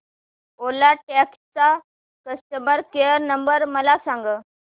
ओला taxi चा customer care number मला सांग